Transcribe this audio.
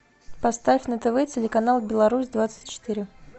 поставь на тв телеканал беларусь двадцать четыре